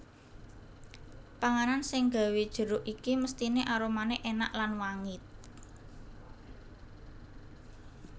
Panganan seng gawé jeruk iki mestine aromane enak lan wangit